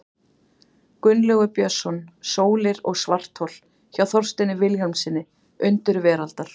Gunnlaugur Björnsson, Sólir og svarthol, hjá Þorsteini Vilhjálmssyni, Undur veraldar.